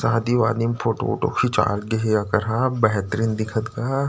शादी- वादी में फोटो -ओटो खिंचा गेहे एकर हा बेहतरीन दिखत गा --